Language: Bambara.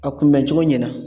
A kunbɛncogo ɲɛna.